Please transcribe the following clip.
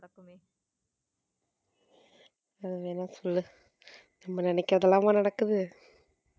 அத அத வேணா சொல்லு நம்ம நினைக்கிறது எல்லாமே நடக்குது.